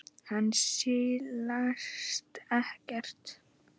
Hann silast ekkert.